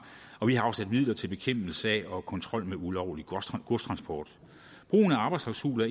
og vi har afsat midler til bekæmpelse af og kontrol med ulovlig godstransport brugen af arbejdsklausuler